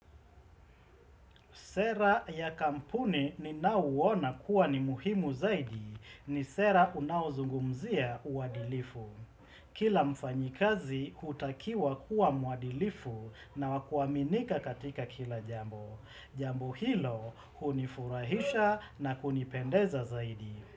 Sera ya kampuni ninao uona kuwa ni muhimu zaidi ni sera unao zungumzia uwadilifu. Kila mfanyikazi hutakiwa kuwa mwadilifu na wa kuaminika katika kila jambo. Jambo hilo hunifurahisha na kunipendeza zaidi.